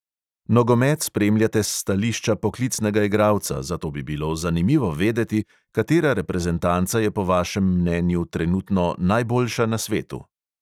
Nogomet spremljate s stališča poklicnega igralca, zato bi bilo zanimivo vedeti, katera reprezentanca je po vašem mnenju trenutno najboljša na svetu?